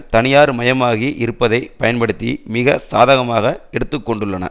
தனியார் மயமாகி இருப்பதை பயன்படுத்தி மிக சாதகமாக எடுத்து கொண்டுள்ளன